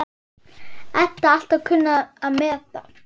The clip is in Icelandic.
Edda alltaf kunnað að meta.